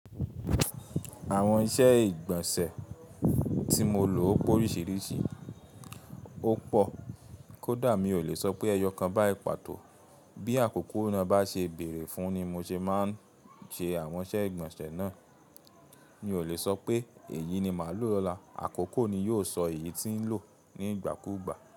Àwọn iṣẹ́ ìgbọ̀nsẹ̀ tí mo lò ó pòríṣìríṣì, ó pọ̀. Kódà mi ò lè sọ pé ẹyọ kan báyì pàtó. Bí àkókò náà bá ṣe bèrè fún ni mo ṣe máa ń ṣe àwọn iṣẹ́ ìgbọ̀nsẹ̀ náà. Mi ò lè sọ pé èyí ni màá lò lọ́la, àkókò ni yó sọ èyí tí n lò nígbàkúùgbà.